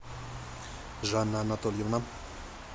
жанна анатольевна